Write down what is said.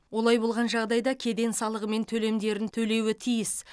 олай болған жағдайда кеден салығы мен төлемдерін төлеуі тиіс